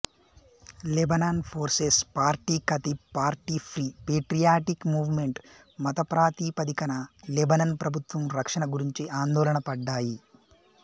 Lebanon forces party Kataeb party free patriotic movement మతప్రాతిపదికన Lebanon ప్రభుత్వం రక్షణ గురించి ఆందోళనపడ్డాయి